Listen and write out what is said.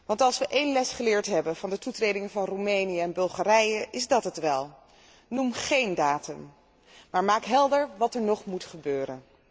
Want als wij één les geleerd hebben van de toetreding van Roemenië en Bulgarije, is het wel deze noem géén datum, maar maak helder wat er nog moet gebeuren.